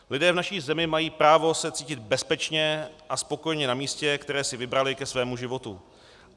Lidé v naší zemi mají právo se cítit bezpečně a spokojeně na místě, které si vybrali ke svému životu.